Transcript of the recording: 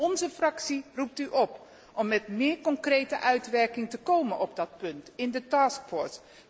Onze fractie roept u op om met meer concrete uitwerking te komen op dat punt in de taskforce.